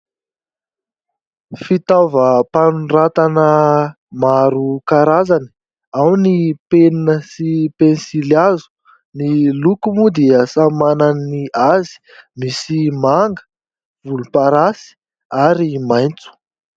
Fitaovam-panoratana maro karazany. Ao ny penina sy pensilihazo. Ny loko moa dia samy manana ny azy. Misy manga, volomparasy ary maitso.